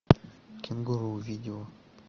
кенгуру видео